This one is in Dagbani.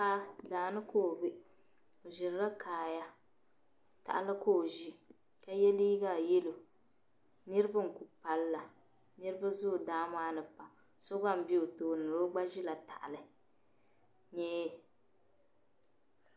Paɣa daa ni ka ɔ bɛ ɔ ʒirila kaa ya tahali ka ɔ ʒi ka ye liiga yelɔw niribi n ku pallila niribi zoo daa maani pam paɣa sɔ gba n bɛ ɔ tooni la ɔgba ʒila tahali .